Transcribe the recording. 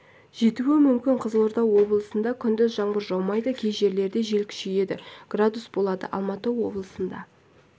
жетуі мүмкін қызылорда облысында күндіз жаңбыр жаумайды кей жерлерде жел күшейеді градус болады алматы облысында